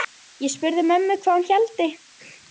Ég spurði mömmu hvað hún héldi.